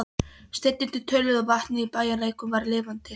Steinarnir töluðu og vatnið í bæjarlæknum var lifandi.